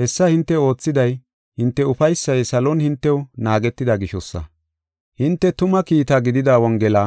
Hessa hinte oothiday hinte ufaysay salon hintew naagetida gishosa. Hinte tuma kiitta gidida Wongela